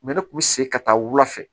ne kun bɛ segin ka taa wula fɛ